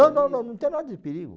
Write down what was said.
Não, não, não, não tem nada de perigo.